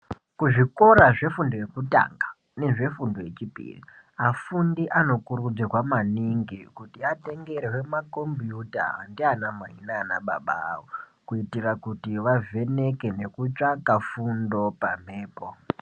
Kuzvikora zvefundo yekutanga nezvefundo yechipiri vafundi anokurudzirwa maningi kuti atengerwe makompiyuta ndiyana mai nana baba avo kuitira kuti vavheneke nekutsvaka fundo pamhepo.